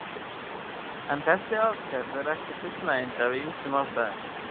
En þessi aðferð er ekki fullnægjandi af ýmsum ástæðum.